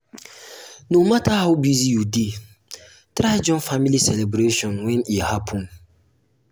no matter how busy you dey um try um join um family celebration when e happen.